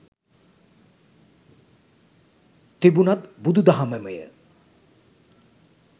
තිබුනත් බුදු දහමමය.